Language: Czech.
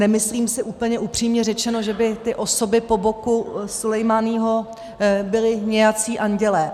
Nemyslím si, úplně upřímně řečeno, že by ty osoby po boku Sulejmáního byly nějací andělé.